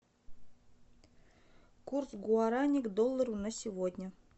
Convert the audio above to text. курс гуарани к доллару на сегодня